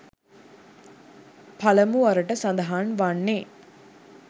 පළමුවරට සඳහන් වන්නේ